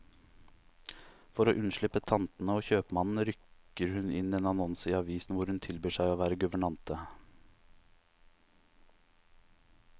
For å unnslippe tantene og kjøpmannen, rykker hun inn annonser i avisen hvor hun tilbyr seg å være guvernante.